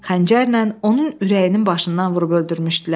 Xəncərlə onun ürəyinin başından vurub öldürmüşdülər.